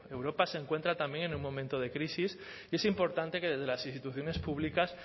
europa se encuentra también en un momento de crisis y es importante que desde las instituciones públicas